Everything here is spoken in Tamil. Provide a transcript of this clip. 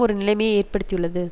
ஒரு நிலைமையை ஏற்படுத்தியுள்ளது